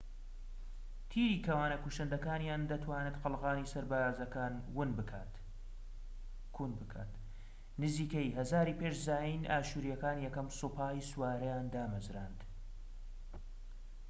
تیری کەوانە کوشندەکانیان دەتوانێت قەڵغانی سەربازەکان کون بکات. نزیکەی ١٠٠٠ ی پێش زاین ئاشوریەکان یەکەم سوپای سوارەیان دامەزراند